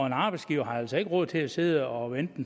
en arbejdsgiver har altså ikke råd til at sidde og vente